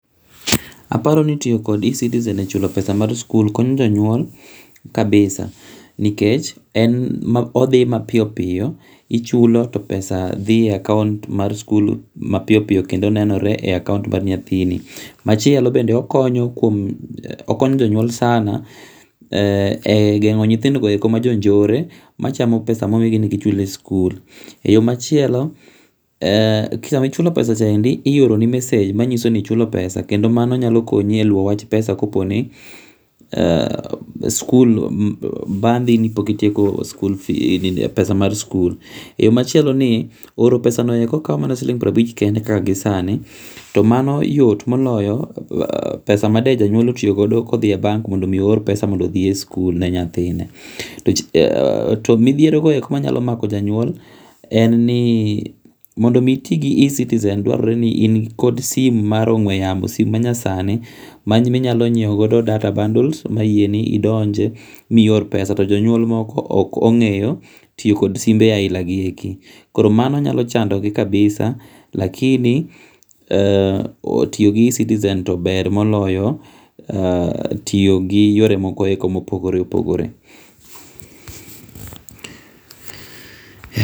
Aparo ni tiyo kod eCitizen e chulo pesa mar school konyo jonyuol kabisa ni kech en odhi ma piyo piyo i chulo to pesa dhi e account mar school mapiyo piyo kendo ne nore e account mar nyathini ma chielo bende okonyo janyuol sana e gengo nyithindo eko ma jo njore ma chamo pesa ma omigi mondo gi chul e school yo ma chieol sa ma ichulo pesa cha endi ioroni messsage ma nyiso ni ichulo pesa kendo ma endi nyalo konyi e luwo wach pesa ka po ni skul bandhi ni pok itieko skul fee pesa mar school e yo machielo ni ro pesa no kawo ma siling piero abich kaka gi sani to mano yot moloyo pesa made janyuol otiyo go do ka odhi e bengi mondo mi oro pesa odhi e school ne nyathine to midhiero go eko ma nyalo mako ja nyuol en ni mondo mi iti gi eCitizen dwarore ni in kod simu mar ogwe yamo simu ma nya sani ma inyalo ngiewo go data bundles ma yieni idonji mi ior pesa to jo nyuol moko ok ongeyo tiyo kod simbe aina gi eki koro mano nyalo chando gi kabisa lakini tiyo gi eCitizen to ber moloyo tiyo gi yore moko ma opogore opogore.